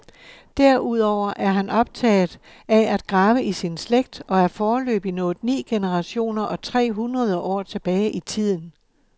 Derudover er han optaget af at grave i sin slægt og er foreløbig nået ni generationer og tre hundrede år tilbage i tiden.